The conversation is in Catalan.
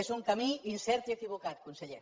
és un camí incert i equivocat conseller